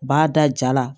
U b'a da ja la